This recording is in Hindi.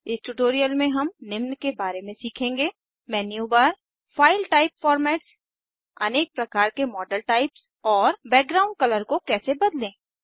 इस ट्यूटोरियल में हम निम्न के बारे में सीखेंगे menu bar file type formats अनेक प्रकार के मॉडल टाइप्स और बैकग्राउंड कलर को कैसे बदलें